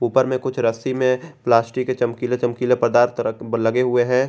ऊपर में कुछ रस्सी में प्लास्टिक के चमकीले चमकीले पदार्थ लगे हुए हैं।